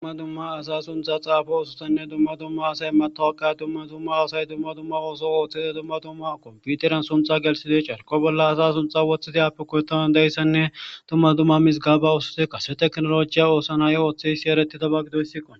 dumma dumma asa suntha xaafo ususanne dumma dumma asay matowaqa dumma tumma asay dumma dumma ooso ooththide dumma tumma komputeran sunxa gelsidoy carko bolla asa sunxa wothida api koyottaman dayssanne tumma dumma mizgaba ususe kase teknolojiya oosanayo ooththe hissi ereti daba gido yssikqo